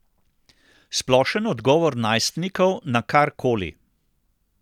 Splošen odgovor najstnikov na kar koli.